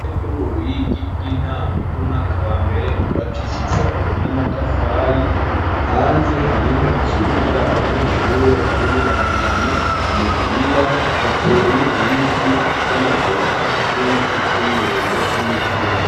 Ryo mu Ruyigi ry'intango ry'umwaka wa mbere ryubakishicwe n'amatafari hanze hariho ikibuga abanyeshure barimwo barakina umupira hateye ibiti vy'amavoka n'ibiti vy'umwembe n'imicungo